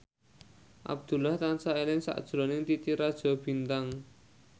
Abdullah tansah eling sakjroning Titi Rajo Bintang